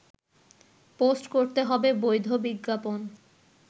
post করতে হবে বৈধ বিজ্ঞাপন